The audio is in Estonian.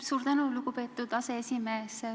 Suur tänu, lugupeetud aseesimees!